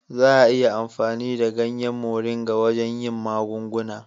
Za a yi amfani da ganyen Moringa wajen yin magunguna.